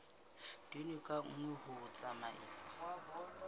tone ka nngwe ho tsamaisa